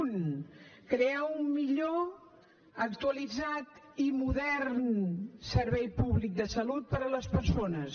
un crear un millor actualitzat i modern servei públic de salut per a les persones